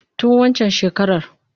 Tun waccan shekarar.